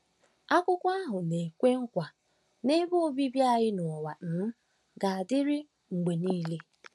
Akwụkwọ ahụ na-ekwe nkwa na ebe obibi anyị n’ụwa um ga-adịru mgbe niile.